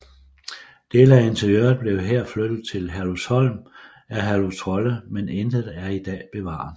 Dele af interiøret blev her flyttet til Herlufsholm af Herluf Trolle men intet er i dag bevaret